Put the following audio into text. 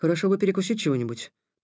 хорошо бы перекусить чего-нибудь